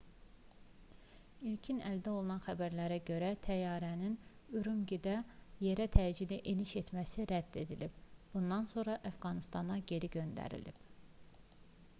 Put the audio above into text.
i̇lkin əldə olunan xəbərlərə görə təyyarənin ürümqidə yerə təcili eniş etməsi rədd edilib bundan sonra əfqanıstana geri göndərilib